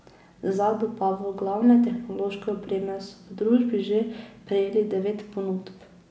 Za dobavo glavne tehnološke opreme so v družbi že prejeli devet ponudb.